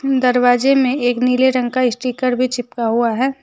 दरवाजे में एक नीले रंग का स्टीकर भी चिपका हुआ है।